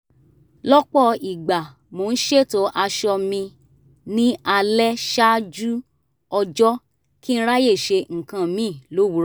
lọ́pọ̀ ìgbà mo ń ṣètò aṣọ mi ní alẹ́ ṣáájú ọjọ́ kí n ráyè ṣe nǹkan míì lówùúrọ̀